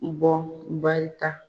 barika.